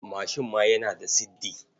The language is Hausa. Mashin ma yana da siddi.